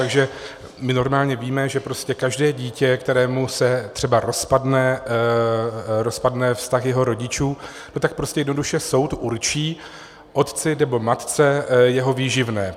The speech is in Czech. Takže my normálně víme, že každé dítě, kterému se třeba rozpadne vztah jeho rodičů, tak prostě jednoduše soud určí otci nebo matce jeho výživné.